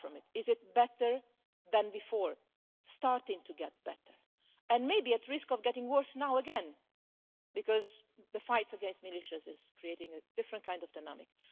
Is it better than before? Starting to get better and may be at risk of getting worse now again, because the fight against militias is creating a different kind of dynamic.